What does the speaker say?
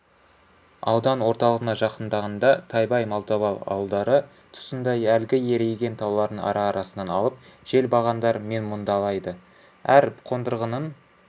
аудан орталығына жақындағанда тайбай малтабар ауылдары тұсында әлгі ерейген таулардың ара-арасынан алып желбағандар менмұндалайды әр қондырғының